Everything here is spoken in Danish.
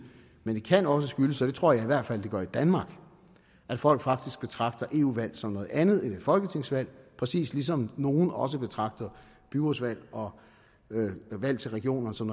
men det kan også skyldes og det tror jeg i hvert fald at det gør i danmark at folk faktisk betragter eu valg som noget andet end et folketingsvalg præcis ligesom nogle også betragter byrådsvalg og valg til regionerne som